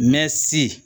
Mɛ si